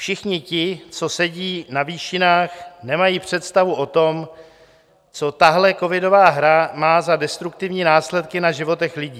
Všichni ti, co sedí na výšinách, nemají představu o tom, co tahle covidová hra má za destruktivní následky na životech lidí.